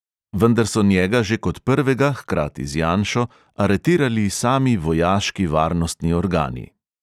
Vendar so njega že kot prvega (hkrati z janšo) aretirali sami vojaški varnostni organi.